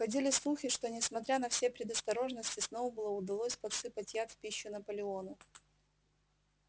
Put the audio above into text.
ходили слухи что несмотря на все предосторожности сноуболлу удалось подсыпать яд в пищу наполеону